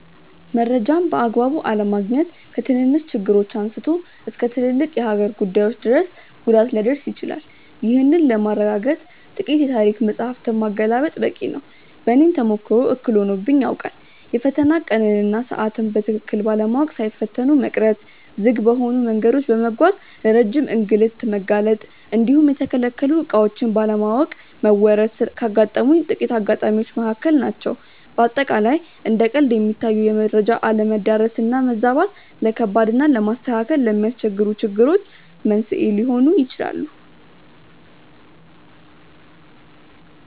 መረጃን በአግባቡ አለማግኘት ከትንንሽ ችግሮች አንስቶ እስከ ትልልቅ የሀገር ጉዳዮች ድረስ ጉዳት ሊያደርስ ይችላል። ይህንን ለማረጋገጥ ጥቂት የታሪክ መጻሕፍትን ማገላበጥ በቂ ነው። በእኔም ተሞክሮ እክል ሆኖብኝ ያውቃል። የፈተና ቀንን እና ሰዓትን በትክክል ባለማወቅ ሳይፈተኑ መቅረት፣ ዝግ በሆኑ መንገዶች በመጓዝ ለረጅም እንግልት መጋለጥ እንዲሁም የተከለከሉ ዕቃዎችን ባለማወቅ መወረስ ካጋጠሙኝ ጥቂት አጋጣሚዎች መካከል ናቸው። በአጠቃላይ እንደ ቀልድ የሚታዩ የመረጃ አለመዳረስ እና መዛባት፣ ለከባድ እና ለማስተካከል ለሚያስቸግሩ ችግሮች መንስኤ ሊሆኑ ይችላሉ።